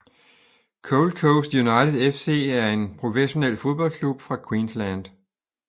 Gold Coast United FC er en professionel fodboldklub fra Queensland